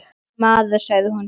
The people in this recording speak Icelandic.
Maður, sagði hún svo.